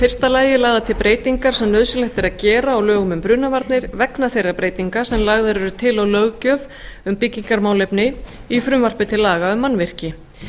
fyrsta lagi lagðar til breytingar sem nauðsynlegt er að gera á lögum um brunavarnir vegna þeirra breytinga sem lagðar eru til á löggjöf um byggingarmálefni í frumvarpi til laga um mannvirki